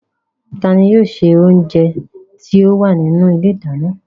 Ta ni yóò ṣe oúnjẹ tí ó wà nínú ilé ìdáná?